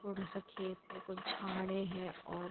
थोड़ा सा खेत है कुछ झाड़े हैं और--